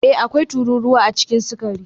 Ee, akwai tururuwa a cikin sukari